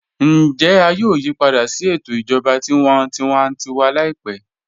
Ǹjẹ à yòò yípadà sí ètò ìjọba tí wọ́n tìwàntìwà láípẹ̀?